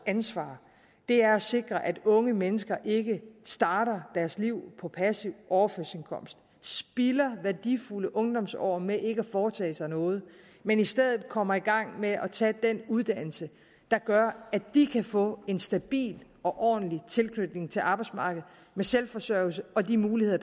ansvar er at sikre at unge mennesker ikke starter deres liv på passiv overførselsindkomst og spilder værdifulde ungdomsår med ikke at foretage sig noget men i stedet kommer i gang med at tage den uddannelse der gør at de kan få en stabil og ordentlig tilknytning til arbejdsmarkedet med selvforsørgelse og de muligheder